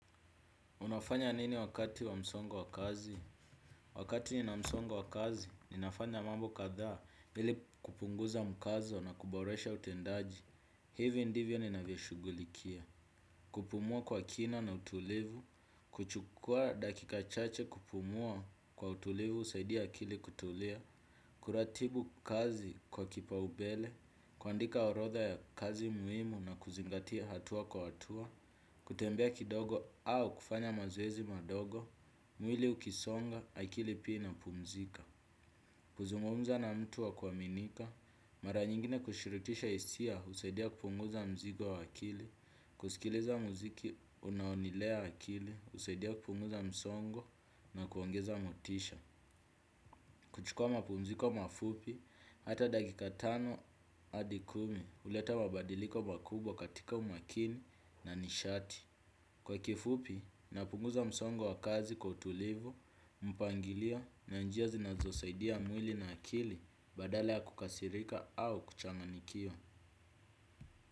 Unafanya nini wakati wa msongo wa kazi? Wakati nina msongo wa kazi, ninafanya mambo katha hili kupunguza mkazo na kuboresha utendaji. Hivyo ndivyo ninavyoshugulikia. Kupumua kwa kina na utulivu, kuchukua dakika chache kupumua kwa utulivu, usaidia kili kutulia, kuratibu kazi kwa kipaubele, kuandika orotha ya kazi muimu na kuzingatia hatua kwa hatua, kutembea kidogo au kufanya mazowezi madogo. Mwili ukisonga, akili ina pumzika. Kuzungumumza na mtu wa kuaminika mara nyingine kushiritisha isia usaidia kupunguza mzigo wa akili. Kusikiliza muziki unaonilea akili usaidia kupunguza msongo na kuongeza motisha. Kuchukua mapumziko mafupi hata dakika tano adi kumi huleta mabadiliko makubwa katika umakini na nishati. Kwa kifupi, napunguza msongo wa kazi kwa utulivu, mpangilio na njia zinazosaidia mwili na akili badala ya kukasirika au kuchanganikiwa.